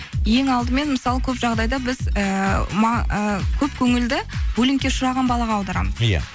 ең алдымен мысалы көп жағдайда біз ііі ы көп көңілді булингке ұшыраған балаға аударамыз иә